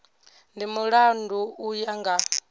ndi mulandu u ya nga